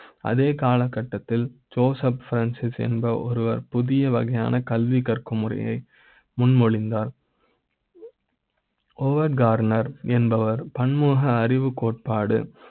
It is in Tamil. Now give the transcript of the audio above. அதே காலகட்டத்தில் ள் என்பவர் Joseph Francis ஒருவர் புதிய வகையான கல்வி கற்கு ம் முறையை முன்மொழிந்தார் ஓவர் கார்னர் என்பவர் பன்முக அறிவு கோட்பாடு